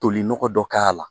Tolen nɔgɔ dɔ k'a la